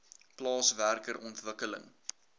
plaas werker ontwikkeling